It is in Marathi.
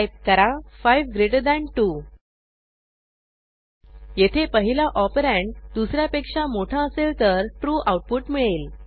टाईप करा 5 ग्रेटर थान 2 येथे पहिला ऑपरंड दुस यापेक्षा मोठा असेल तर ट्रू आऊटपुट मिळेल